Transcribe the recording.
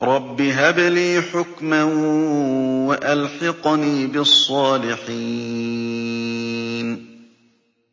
رَبِّ هَبْ لِي حُكْمًا وَأَلْحِقْنِي بِالصَّالِحِينَ